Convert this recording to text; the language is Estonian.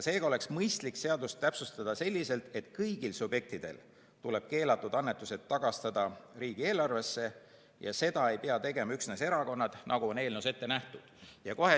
Seega oleks mõistlik seadust täpsustada selliselt, et kõigil subjektidel tuleb keelatud annetused tagastada riigieelarvesse, seda ei pea tegema üksnes erakonnad, nagu on eelnõus ette nähtud.